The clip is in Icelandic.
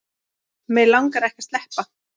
Mig langaði ekki að sleppa.